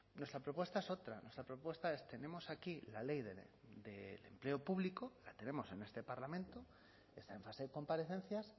nuestra propuesta es otra nuestra propuesta es tenemos aquí la ley del empleo público la tenemos en este parlamento está en fase de comparecencias